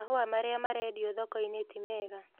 Mahũa marĩa marendio thoko-inĩ ti mega